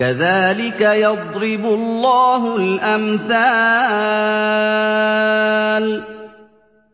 كَذَٰلِكَ يَضْرِبُ اللَّهُ الْأَمْثَالَ